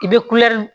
I bɛ kulɛri